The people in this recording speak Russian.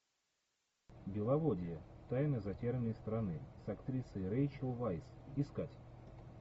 беловодье тайна затерянной страны с актрисой рэйчел вайс искать